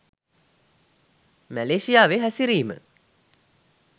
මැලේසියාවේ හැසිරීම